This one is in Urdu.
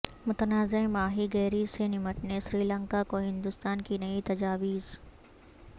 متنازعہ ماہی گیری سے نمٹنے سری لنکا کو ہندوستان کی نئی تجاویز